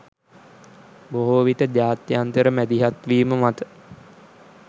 බොහෝ විට ජාත්‍යන්තර මැදිහත්වීම මත